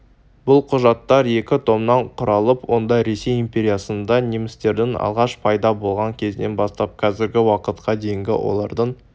бұл құжаттар екі томнан құралып онда ресей империясында немістердің алғаш пайда болған кезінен бастап қазіргі уақытқа дейінгі олардың